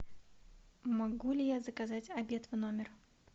могу ли я заказать обед в номер